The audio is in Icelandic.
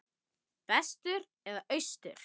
Vestur eða austur?